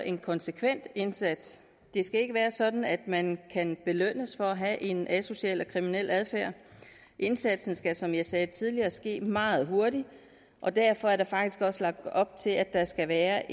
en konsekvent indsats det skal ikke være sådan at man kan belønnes for at have en asocial og kriminel adfærd indsatsen skal som jeg sagde tidligere ske meget hurtigt og derfor er der faktisk også lagt op til at der skal være